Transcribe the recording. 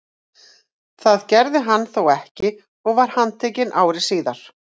Það gerði hann þó ekki og var handtekinn ári síðar.